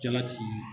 Jalati